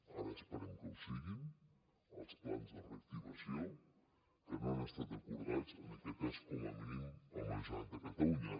ara esperem que ho siguin els plans de reactivació que no han estat acordats en aquest cas com a mínim amb la generalitat de catalunya